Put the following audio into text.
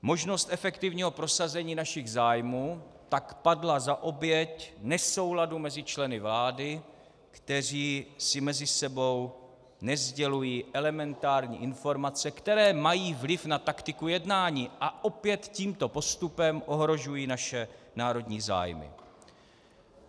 Možnost efektivního prosazení našich zájmů tak padla za oběť nesouladu mezi členy vlády, kteří si mezi sebou nesdělují elementární informace, které mají vliv na taktiku jednání, a opět tímto postupem ohrožují naše národní zájmy.